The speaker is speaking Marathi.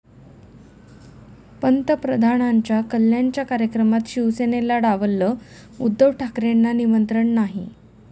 पंतप्रधानांच्या कल्याणच्या कार्यक्रमात शिवसेनेला डावललं, उद्धव ठाकरेंना निमंत्रण नाही?